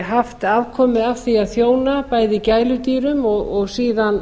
haft afkomu af því að þjóna bæði gæludýrum og síðan